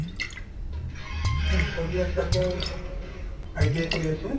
উহ্, চলি আছে আকৌ ITI কৰি আছো